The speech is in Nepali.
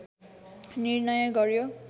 निर्णय गर्‍यो